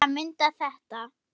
segir til að mynda þetta